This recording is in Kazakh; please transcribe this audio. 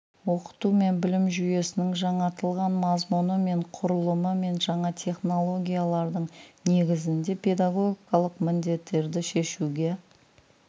оқыту мен білім жүйесінің жаңартылған мазмұны мен құрылымы мен жаңа технологиялардың негізінде педагогикалық міндеттерді шешуге